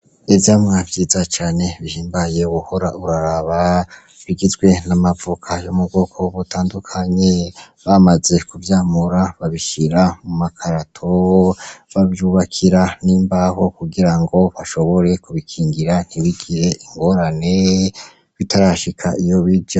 Ivyamwa vyiza cane bihimbaye wohora uraraba, bigizwe n'amavoka yo mu bwoko butandukanye, bamaze kuvyamura babishira mu makarato, bavyubakira n'imbaho kugira ngo bashobore kubikingira ntibigire ingorane bitarashika iyo bija.